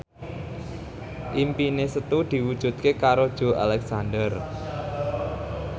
impine Setu diwujudke karo Joey Alexander